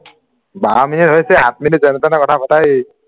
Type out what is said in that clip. বাৰ minute হৈছে আঠ minute যেনে-তেনে কথা পাতা ঐ